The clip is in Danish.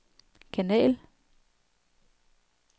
kanal